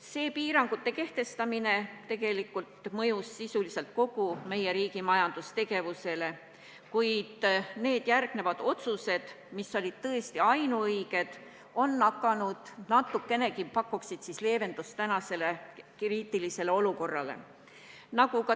Nende piirangute kehtestamine on mõjunud sisuliselt kogu meie riigi majandustegevusele, kuid järgnenud otsused, mis olid tõesti ainuõiged, on hakanud natukenegi pakkuma leevendust tänasele kriitilisele olukorrale.